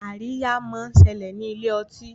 Àríyá món ṣẹlẹ ní Ilé-ọtí.